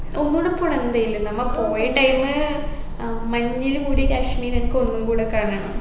ഒന്നൂടെ പോണം എന്തായാലും നമ്മ പോയ time ഏർ മഞ്ഞിൽ മൂടിയ കാശ്മീർ എനിക്കൊന്നും കൂടെ കാണണം